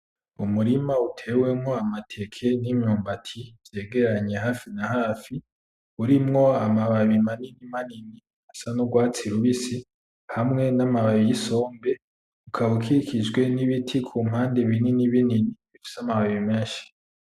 Umurima utewemwo amateke n'imyumbati vyegeranye hafi nahafi urimwo amababi manini manini asa n'urwatsi rubisi hamwe n'amababi yisombe ukaba ukikijwe nibiti kumpande binini binini bifise amababi menshi